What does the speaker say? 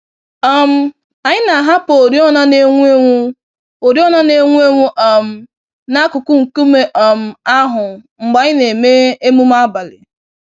um Anyị na-ahapụ oriọna n'enwu-enwu oriọna n'enwu-enwu um n'akụkụ nkume um ahụ mgbe anyị na-eme emume abalị.